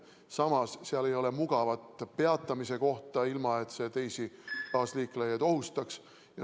Samas ei ole seal mugavat peatamise kohta, ilma et see kaasliiklejaid ohustaks.